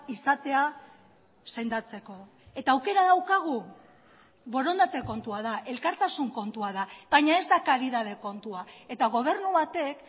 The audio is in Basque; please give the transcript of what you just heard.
izatea sendatzeko eta aukera daukagu borondate kontua da elkartasun kontua da baina ez da karidade kontua eta gobernu batek